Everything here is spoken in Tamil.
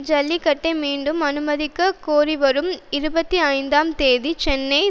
ஜல்லிக்கட்டை மீண்டும் அனுமதிக்க கோரி வரும் இருபத்தி ஐந்தாம் தேதி சென்னை